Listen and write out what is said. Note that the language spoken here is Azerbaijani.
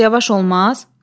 Bir az yavaş olmaz?